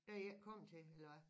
Der i ikke kommet til eller hvad?